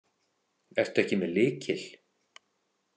Ertu ekki með lykil?